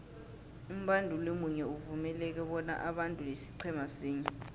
umbanduli munye uvumeleke bona abandule isiqhema sinye